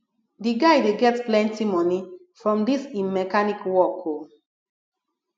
di guy dey get plenty moni from dis im mechanic work o